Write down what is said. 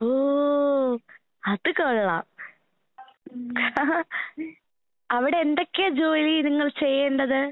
ഓ അത് കൊള്ളാം. അവടെ എന്തൊക്കെയാ ജോലി നിങ്ങൾ ചെയ്യേണ്ടത്?